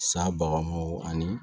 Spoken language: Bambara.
Sa baganw ani